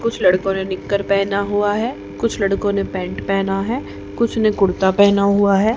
कुछ लड़कों ने नेक्कर पहना हुआ है कुछ लड़कों ने पैंट पहना है कुछ ने कुर्ता पहना हुआ है।